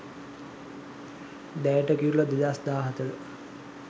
deyata kirula 2014